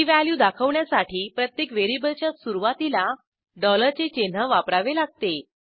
ती व्हॅल्यू दाखवण्यासाठी प्रत्येक व्हेरिएबलच्या सुरूवातीला डॉलरचे चिन्ह वापरावे लागते